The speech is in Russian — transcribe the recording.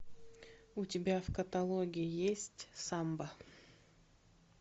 у тебя в каталоге есть самба